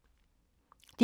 DR K